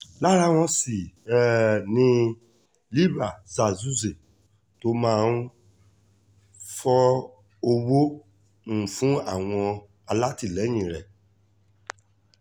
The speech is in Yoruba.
lára wọn sì um ni libre zah zuhzeh tóun náà máa ń fọ owó um fún àwọn alátìlẹyìn rẹ̀